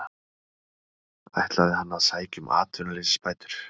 Ætlaði hann að sækja um atvinnuleysisbætur?